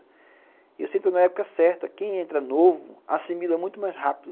E eu sinto que na época certa, quem entra novo assimila muito mais rápido.